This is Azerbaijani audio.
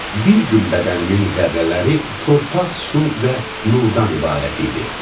Bir gün bədənimin zərrələri torpaq, su və nurdan ibarət idi.